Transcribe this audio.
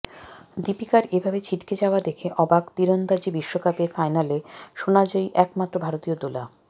দীপিকার এ ভাবে ছিটকে যাওয়া দেখে অবাক তিরন্দাজি বিশ্বকাপের ফাইনালে সোনাজয়ী এক মাত্র ভারতীয় দোলা